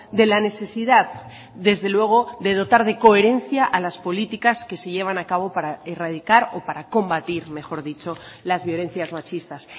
de la necesidad desde luego de dotar de coherencia a las políticas que se llevan a cabo para erradicar o para combatir mejor dicho las violencias machistas